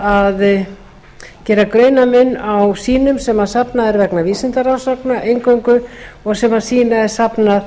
að gera greinarmun á sýnum sem þarna er vegna vísindarannsókna eingöngu og sem sýni er safnað